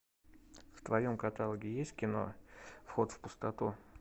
в твоем каталоге есть кино вход в пустоту